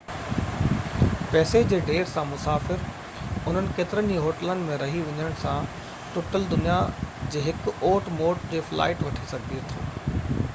پئسي جي ڍير سان مسافر انهن ڪيترن ئي هوٽلن ۾ رهي وڃڻ سان ٽٽل دنيا جي هڪ اوٽ موٽ جي فلائيٽ وٺي سگهي ٿو